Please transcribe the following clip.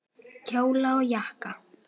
Kjóla og jakka.